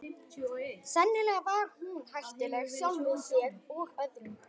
Sennilega var hún hættuleg sjálfri sér og öðrum.